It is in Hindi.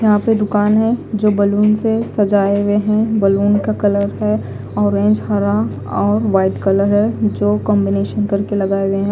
यहा पे दुकान है जो बलून से सजाये हुए है बलून का कलर है ऑरेंज हरा ओए वाइट कलर है जो कॉम्बिनेशन करके लगाये गये है।